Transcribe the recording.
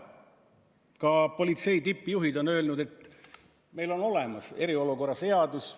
Ka politsei tippjuhid on öelnud, et meil on olemas eriolukorda käsitlev seadus.